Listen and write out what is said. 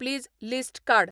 please list काड